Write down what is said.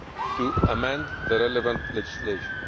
to amend the relevant legislation.